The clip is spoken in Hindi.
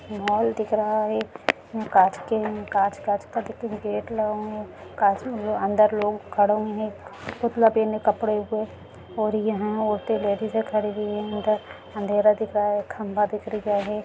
एक मोल दिख रहा है कांच कांच का गेट लगा है कांच में अन्दर लोग खड़े हुए हैं पुतला कपड़े पहने हुए हैं और यहाँ लेडीजे खड़ी हुई हैं अँधेरा दिख रहा है खम्बा दिख रहा हैं।